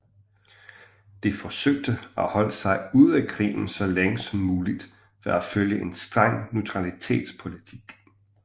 De forsøgte at holde sig ude af krigen så længe som muligt ved at følge en streng neutralitetspolitik